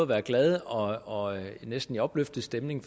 at være glad og og næsten i opløftet stemning